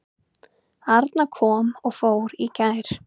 Arna kom og fór í gær.